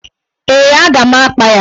Ee, a ga m akpa ya.